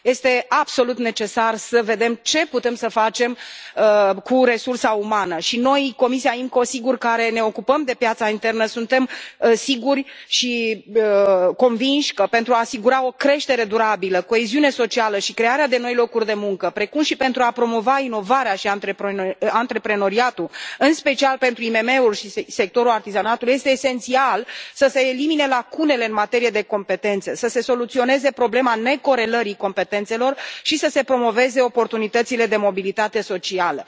Este absolut necesar să vedem ce putem să facem cu resursa umană și noi, comisia IMCO, sigur, care ne ocupăm de piața internă, suntem siguri și convinși că, pentru a asigura o creștere durabilă, coeziune socială și crearea de noi locuri de muncă, precum și pentru a promova inovarea și antreprenoriatul, în special pentru IMM uri și sectorul artizanatului, este esențial să se elimine lacunele în materie de competențe, să se soluționeze problema necorelării competențelor și să se promoveze oportunitățile de mobilitate socială.